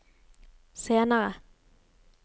senere